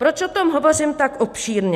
Proč o tom hovořím tak obšírně?